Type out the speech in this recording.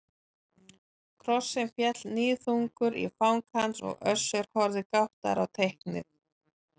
Krossinn féll níðþungur í fang hans og Össur horfði gáttaður á teiknið.